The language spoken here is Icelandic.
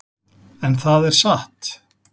En það er satt.